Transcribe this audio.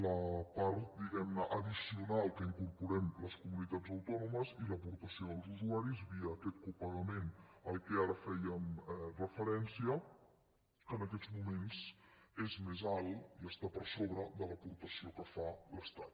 la part diguem ne addicional que incorporem les comunitats autònomes i l’aportació dels usuaris via aquest copagament a què ara fèiem referència en aquests moments és més alt i està per sobre de l’aportació que fa l’estat